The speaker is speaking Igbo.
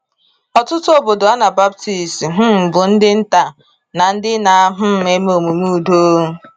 Ọtụtụ obodo Anabaptist um bụ ndị nta, na ndị na um eme omume udo.